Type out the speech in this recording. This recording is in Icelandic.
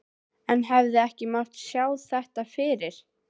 En hefði ekki mátt sjá þetta fyrir?